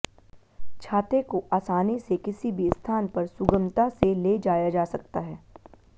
छाते को आसानी से किसी भी स्थान पर सुगमता से ले जाया जा सकता है